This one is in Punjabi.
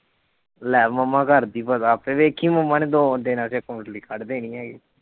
ਲੈ ਮੰਮਾ ਕਰਦੀ ਪਤਾ ਆਪੇ ਵੇਖੀ ਮੰਮਾ ਨੇ ਦੋ ਦਿਨਾਂ ਚ ਕੁੰਡਲੀ ਕੱਢ ਦੇਣੀ ਹੈ।